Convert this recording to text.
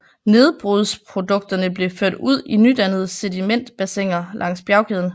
Nedbrudsprodukterne blev ført ud i nydannede sedimentbassiner langs med bjergkæden